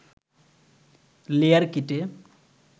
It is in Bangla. লেয়ার কেটে